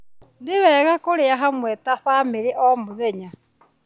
Nĩ wega kũrĩa hamwe ta bamĩrĩ o mũthenya.